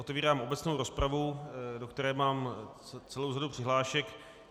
Otevírám obecnou rozpravu, do které mám celou řadu přihlášek.